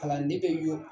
Kalanden bɛ jɔ